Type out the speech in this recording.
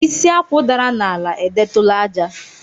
Isi Akwụ dara n'ala, edetụla àjà.